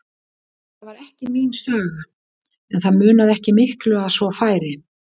Þetta var ekki mín saga, en það munaði ekki miklu að svo færi.